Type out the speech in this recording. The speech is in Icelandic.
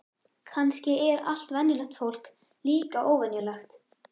Kannski er allt venjulegt fólk líka óvenjulegt.